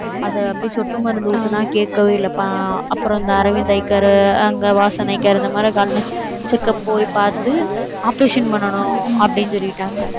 அதை அப்படியே சொட்டு மருந்து ஊத்தினா, கேட்கவே இல்லைப்பா. அப்புறம் இந்த அரவிந்த் அய் கேர் அங்க வாசன் அய் கேர் இந்த மாதிரி கண் check up போய் பார்த்து operation பண்ணணும் அப்படின்னு சொல்லிட்டாங்க